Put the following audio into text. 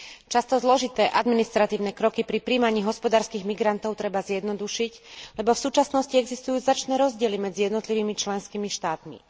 Často zložité administratívne kroky pri prijímaní hospodárskych migrantov treba zjednodušiť, lebo v súčasnosti existujú značné rozdiely medzi jednotlivými členskými štátmi.